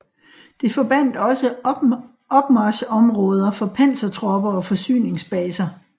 Det forbandt også opmarchområder for pansertropper og forsyningsbaser